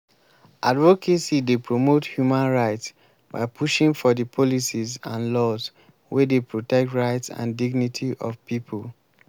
advocacy dey promote human rights by pushing for di policies and laws wey dey protect rights and dignity of people.